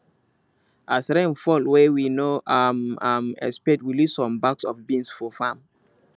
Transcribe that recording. as rain fall wey we no um um expect we lose some bags of beans for farm